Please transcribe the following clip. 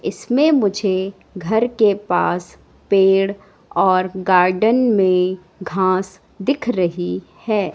इसमें मुझे घर के पास पेड़ और गार्डन में घास दिख रही है।